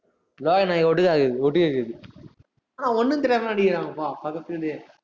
லோகு நாய் ஒட்டுகேக்குது ஒட்டுகேக்குது ஆனா ஒண்ணும் தெரியாத மாதிரி நடிக்கிறாங்கப்பா பக்கத்துல இருந்தே.